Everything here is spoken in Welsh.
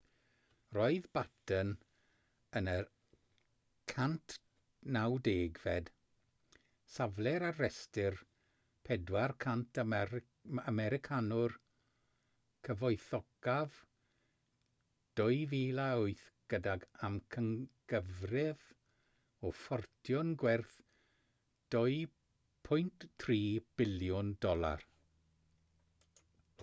roedd batten yn y 190fed safle ar restr 400 americanwr cyfoethocaf 2008 gydag amcangyfrif o ffortiwn gwerth $2.3 biliwn